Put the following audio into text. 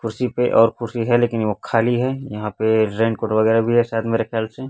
कुर्सी पे और कुर्सी है लेकिन वो खाली है यहां पे रेन कोट वगरैह भी है शायद मेरे खयाल से।